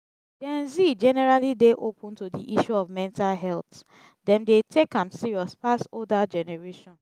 gen z generally dey open to di issue of mental health dem dey take am serious pass older generation